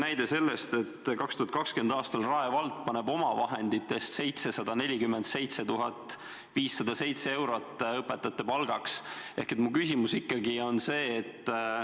Näiteks 2020. aastal eraldab Rae vald omavahenditest 747 507 eurot õpetajate palgaks.